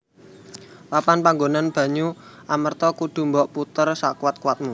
Papan panggonan banyu Amerta kudu mbok puter sakuwat kuwatmu